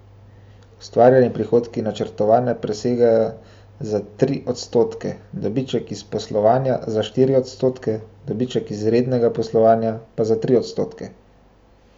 Ustvarjeni prihodki načrtovane presegajo za tri odstotke, dobiček iz poslovanja za štiri odstotke, dobiček iz rednega poslovanja pa za tri odstotke.